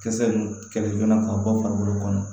Kisɛ ninnu kɛlɛ ka bɔ farikolo kɔnɔ